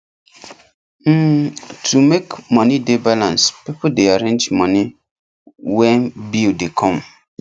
um to make money dey balance people dey arrange money when bill dey come